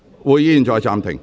會議現在暫停。